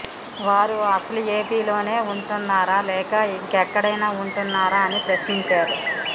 వారు అసలు ఏపీ లో నే ఉంటున్నారా లేక ఇంకెక్కడైనా ఉంటున్నారా అని ప్రశ్నించారు